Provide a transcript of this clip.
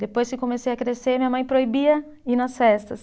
Depois que comecei a crescer, minha mãe proibia ir nas festas.